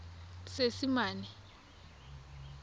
seesimane